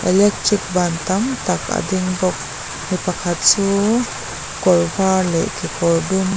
electric ban tam tak a ding bawk mi pakhat chu kawr var leh kekawr dum --